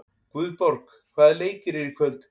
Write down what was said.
Guðborg, hvaða leikir eru í kvöld?